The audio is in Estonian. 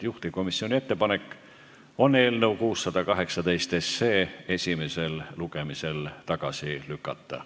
Juhtivkomisjoni ettepanek on eelnõu 618 esimesel lugemisel tagasi lükata.